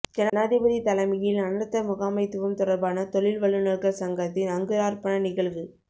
ஜனாதிபதி தலைமையில் அனர்த்த முகாமைத்துவம் தொடர்பான தொழில் வல்லுனர்கள் சங்கத்தின் அங்குரார்ப்பண நிகழ்வு